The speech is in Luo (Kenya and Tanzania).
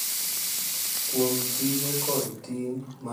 Kuom tije kod ting’ mag ng’ato ka ng’ato,